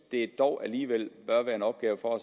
det dog alligevel bør være en opgave for